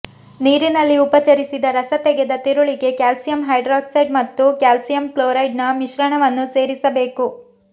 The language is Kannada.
ನೀರಿನಲ್ಲಿ ಉಪಚರಿಸಿದ ರಸ ತೆಗೆದ ತಿರುಳಿಗೆ ಕ್ಯಾಲ್ಸಿಯಂ ಹೈಡ್ರಾಕ್ಸೈಡ್ ಮತ್ತು ಕ್ಯಾಲ್ಸಿಯಂ ಕ್ಲೋರೈಡ್ನ ಮಿಶ್ರಣವನ್ನು ಸೇರಿಸಬೇಕು